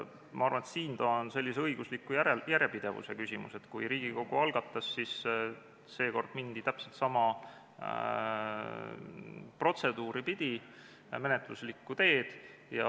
Ma arvan, et see on õigusliku järjepidevuse küsimus, et kui Riigikogu algatas, siis seekord mindi täpselt sama protseduuri pidi, sama menetluslikku teed.